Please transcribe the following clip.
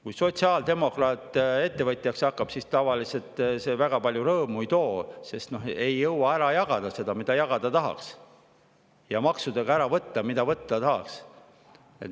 Kui sotsiaaldemokraat ettevõtjaks hakkab, siis tavaliselt see väga palju rõõmu ei too, sest ei jõua ära jagada seda, mida jagada tahaks, ja maksudega ära võtta, mida võtta tahaks.